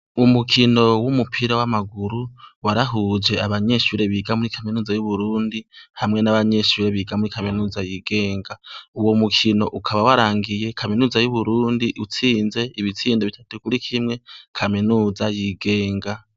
Umukino w'umupira w' amaguru warahuj ' abanyeshure biga muri kaminuza yu burundi hamwe n' abanyeshure biga muri kaminuza yigenga, uwomukin' ukaba warangiye kaminuza y' uburundi, utsinz' ibitsindo bitatu kuri kimwe kaminuza yigenga.